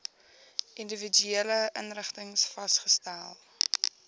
individuele inrigtings vasgestel